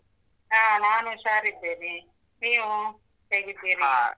ಹಾ ನಾನ್ ಹುಷಾರ್ ಇದ್ದೀನಿ, ನೀವು .